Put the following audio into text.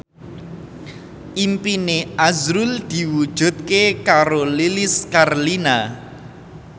impine azrul diwujudke karo Lilis Karlina